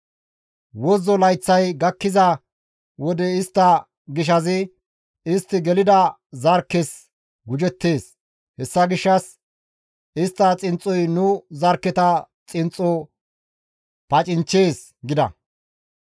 Wozzo layththay gakkiza wode istta gishazi istti gelida zarkkes gujettees; hessa gishshas istta xinxxoy nu zarkketa xinxxo pacinchchees» gida.